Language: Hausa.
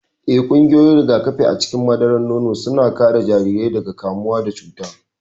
Ee, ƙwayoyin rigakafi a cikin madarar nono suna kare jarirai daga kamuwa da cuta.